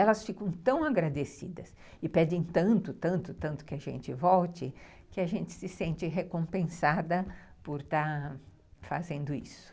Elas ficam tão agradecidas e pedem tanto, tanto, tanto que a gente volte, que a gente se sente recompensada por estar fazendo isso.